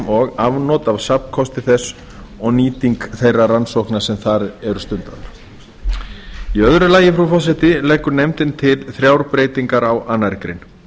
og afnot af safnkosti þess og nýting þeirra rannsókna sem þar eru stundaðar í öðru lagi frú forseti leggur nefndin til þrjár breytingar á annarri grein